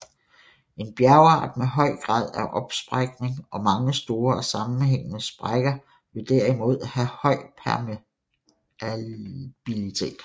En bjergart med høj grad af opsprækning og mange store og sammenhængede sprækker vil derimod have høj permeabilitet